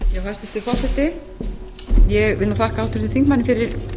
hæstvirtur forseti ég vil nú þakka háttvirtum þingmanni fyrir